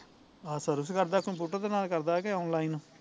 ਆਹੋ service ਕਰਦਾ computer ਦੇ ਨਾਲ਼ ਕਰਦਾ ਐ ਕਿ online